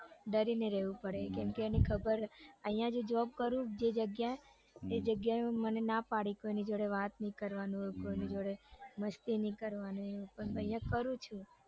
ડરીને રેવું પડે કેમ કે એને ખબર હે આઇયા જે job કરું જે જગ્યા એ જગ્યાએ મને ના પડી છે કોઈની જોડે વાત નઈ કરવાની કોઈને જોડે મસ્તી નઈ કરવાની પણ પછી આઇયા કરવી પડે